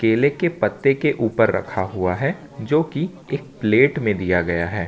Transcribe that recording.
केले के पत्ते के ऊपर रखा हुआ है जो की एक प्लेट में दिया गया है।